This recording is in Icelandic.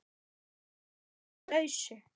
Hún var þá á lausu!